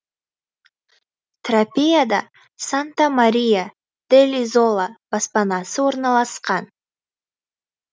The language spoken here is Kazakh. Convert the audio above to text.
тропеяда санта мария делл изола баспанасы орналасқан